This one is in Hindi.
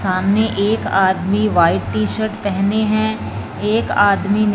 सामने एक आदमी व्हाइट टी-शर्ट पेहने है एक आदमी ने --